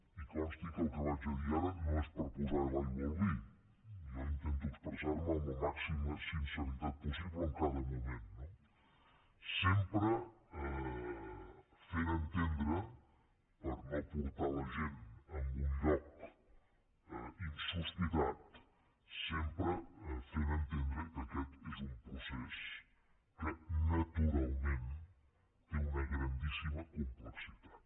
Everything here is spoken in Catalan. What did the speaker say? i consti que el que vaig a dir ara no és per posar l’aigua al vi jo intento expressar me amb la màxima sinceritat possible en cada moment sempre fent entendre per no portar la gent a un lloc insospitat sempre fent ho entendre que aquest és un procés que naturalmentplexitat